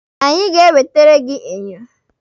Anyị ga-ewetere gị enyo.